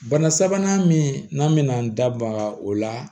Bana sabanan min n'an bɛna an da baga o la